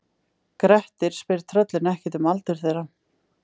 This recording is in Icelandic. Grettir spyr tröllin ekkert um aldur þeirra.